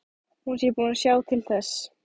Hún sé búin að sjá til þess.